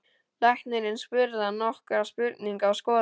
Læknirinn spurði hann nokkurra spurninga og skoðaði hann.